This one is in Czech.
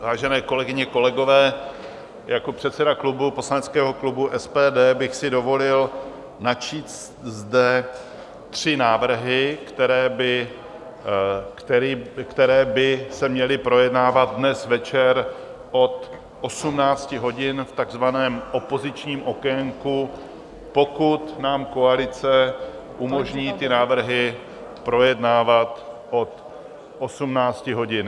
Vážené kolegyně, kolegové, jako předseda klubu, poslaneckého klubu SPD, bych si dovolil načíst zde tři návrhy, které by se měly projednávat dnes večer od 18 hodin v takzvaném opozičním okénku, pokud nám koalice umožní ty návrhy projednávat od 18 hodin.